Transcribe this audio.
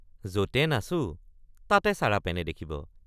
যতে নাচো তাতে চাৰাপেনে দেখিব!